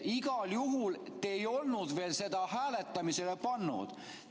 Igal juhul ei olnud te veel seda hääletamisele pannud.